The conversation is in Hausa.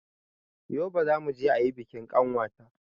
Yobe zamuje ayi bikin ƙanwata